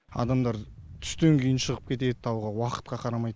адамдар түстен кейін шығып кетеді тауға уақытқа қарамайды